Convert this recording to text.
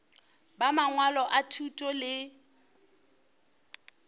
ba mangwalo a thuto le